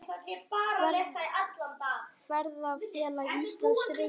Ferðafélag Íslands, Reykjavík.